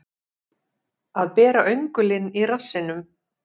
Að bera öngulinn í rassinum